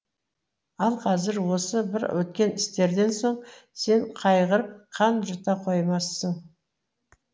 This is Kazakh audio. ал қазір осы бір өткен істерден соң сен қайғырып қан жұта қоймассың